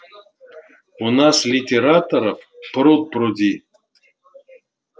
у нас литераторов пруд-пруди